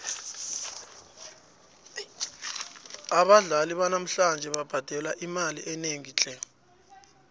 abadlali banamhlanje babhadelwa imali enengi tle